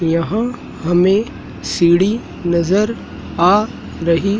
यहां हमें सीडी नजर आ रही--